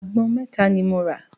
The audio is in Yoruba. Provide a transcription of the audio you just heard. Àgbọn mẹ́ta ni mo rà.